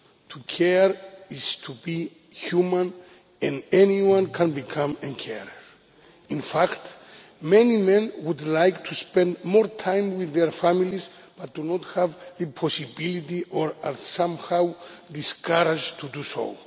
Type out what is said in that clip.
To care is to be human, and anyone can become a carer. In fact, many men would like to spend more time with their families, but do not have the possibility or are somehow discouraged from doing so.